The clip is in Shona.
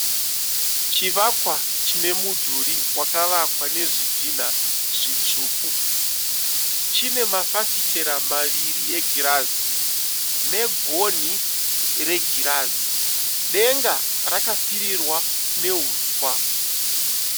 Chivakwa chinemudhuri wakavakwa nezvidhina zvitsvuku. Chine mafafitera maviri egirazi negoni regirazi. Denga rakapfirirwa nehuswa.